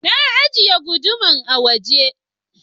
Na ajiye guduman a waje.